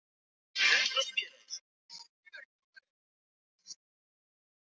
Ég get svarið það að ég sveif í loftinu.